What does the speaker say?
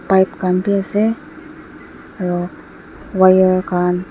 bike khan bhi ase aru wire khan--